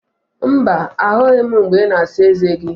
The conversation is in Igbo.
Mba, ahụghị m mgbe ị na-asa eze gị